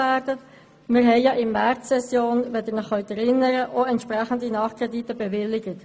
Wir haben ja in der Märzsession – Sie erinnern sich – entsprechende Nachkredite bewilligt.